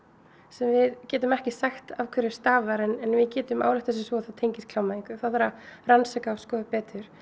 sem við getum ekki sagt af hverju stafar en við getum ályktað sem svo að það tengist klámvæðingu það þarf að rannsaka og skoða betur